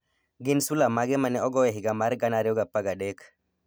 gin sula mage ma ne ogo e higa mar 2013?